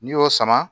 N'i y'o sama